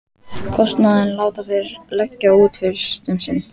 Kostnaðinn láta þeir leggja út fyrst um sinn.